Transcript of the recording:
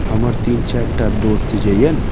हमर तीन चार टा दोस्त जइए ना।